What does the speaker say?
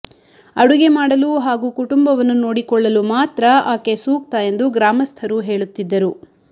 ಅಡುಗೆ ಮಾಡಲು ಹಾಗೂ ಕುಟುಂಬವನ್ನು ನೋಡಿಕೊಳ್ಳಲು ಮಾತ್ರ ಆಕೆ ಸೂಕ್ತ ಎಂದು ಗ್ರಾಮಸ್ಥರು ಹೇಳುತ್ತಿದ್ದರು